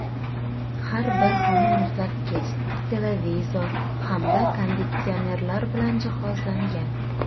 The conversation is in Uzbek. Har bir xona muzlatkich, televizor hamda konditsionerlar bilan jihozlangan.